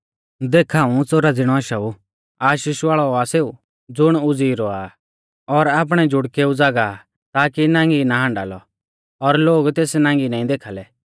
देख हाऊं च़ोरा ज़िणौ आशाऊ आशीष वाल़ौ आ सेऊ ज़ुण उज़ीई रौआ आ और आपणै ज़ुड़केऊ ज़ागाह आ ताकी नांगी ना हाण्डा लौ और लोग तेस नांगी नाईं देखाल़ै